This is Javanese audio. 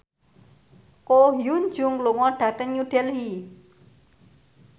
Ko Hyun Jung lunga dhateng New Delhi